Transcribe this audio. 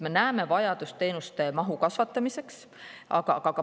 Me näeme vajadust teenuste mahtu kasvatada.